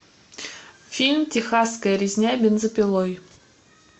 фильм техасская резня бензопилой